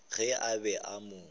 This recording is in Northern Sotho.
ge a be a mo